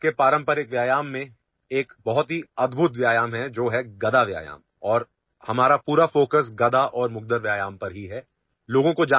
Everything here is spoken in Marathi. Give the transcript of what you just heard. भारतातील पारंपरिक व्यायामांमध्ये एक अत्यंत अद्भुत व्यायाम प्रकार आहे गदा व्यायाम यामध्ये आम्ही गदा आणि मुदगल यांच्या सहाय्याने केल्या जाणाऱ्या व्यायामावर लक्ष केंद्रित केले आहे